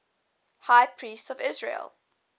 high priests of israel